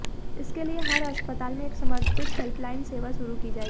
इसके लिए हर अस्पताल में एक समर्पित हेल्पलाइन सेवा शुरू की जाएगी